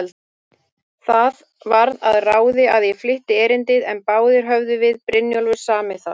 Það varð að ráði, að ég flytti erindið, en báðir höfðum við Brynjólfur samið það.